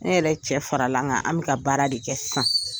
Ne yɛrɛ cɛ fara la n kan an bɛ ka baara de kɛ sisan.